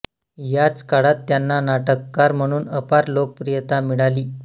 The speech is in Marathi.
याच काळात त्यांना नाटककार म्हणून अपार लोकप्रियता मिळाली